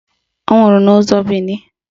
Ọ nwụrụ n'ụzọ Bini